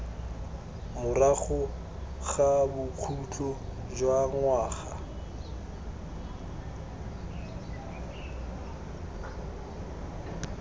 morago ga bokhutlo jwa ngwaga